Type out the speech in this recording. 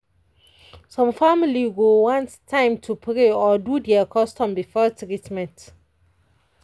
some family go want time to pray or do their custom before treatment